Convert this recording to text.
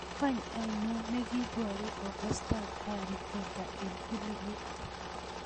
Wany ainion negiiboru komostab harry potter en filimit